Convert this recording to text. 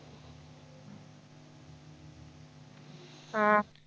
हा